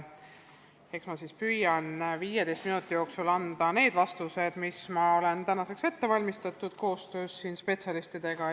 Eks ma siis püüan 15 minuti jooksul anda oma vastused, mis ma olen tänaseks ette valmistanud koostöös spetsialistidega.